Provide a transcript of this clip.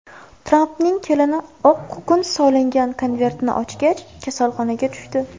Trampning kelini oq kukun solingan konvertni ochgach, kasalxonaga tushdi.